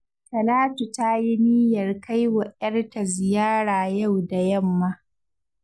Talatu ta yi niyyar kai wa 'yarta ziyara yau da yamma